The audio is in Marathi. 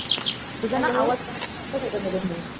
तुझा ना आवाज मधून मधून